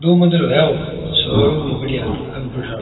दो मंजिल है यो शोरुम ही बढ़िया कंप्युटर --